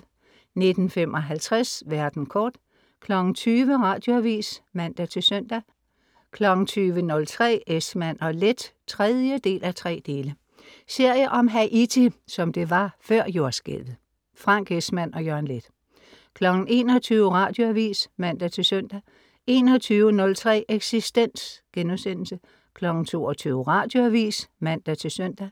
19.55 Verden kort 20.00 Radioavis (man-søn) 20.03 Esmann & Leth 3:3 Serie om Haiti, som det var før jordskælvet. Frank Esmann og Jørgen Leth 21.00 Radioavis (man-søn) 21.03 Eksistens* 22.00 Radioavis (man-søn)